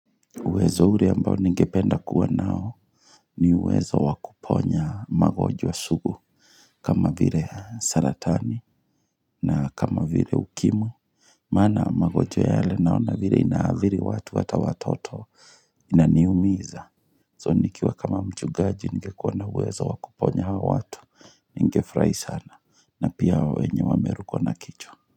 Uwezo ule ambao ningependa kuwa nao ni uwezo wakuponya magonjwa sugu kama vile saratani na kama vile ukimwi Maana magonjwa yale naona vile inaadhiri watu hata watoto inaniumiza. So nikiwa kama mchungaji ningekuwa na uwezo wakuponya hawa watu ningefurahi sana na pia wenye wamerukwa na kichwa.